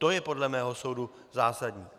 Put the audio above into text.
To je podle mého soudu zásadní.